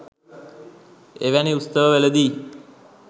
එවැනි උත්සව වලදී